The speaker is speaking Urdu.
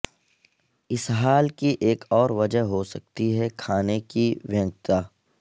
اسہال کی ایک اور وجہ ہو سکتی ہے کھانے کی وینکتتا